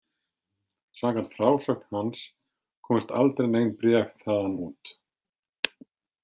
Samkvæmt frásögn hans komust aldrei nein bréf þaðan út.